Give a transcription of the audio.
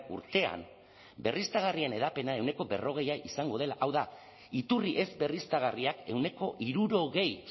urtean berriztagarrien hedapena ehuneko berrogeia izango dela hau da iturri ez berriztagarriak ehuneko hirurogei